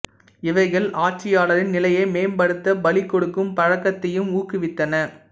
இவைகள் ஆட்சியாளரின் நிலையை மேம்படுத்த பலி கொடுக்கும் பழக்கத்தையும் ஊக்குவித்தன